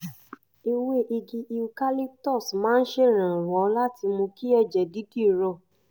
ewé igi eucalyptus máa ń ṣèrànwọ́ láti mú kí ẹ̀jẹ̀ dídì rọ